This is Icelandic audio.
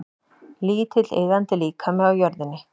Lítill iðandi líkami á jörðinni.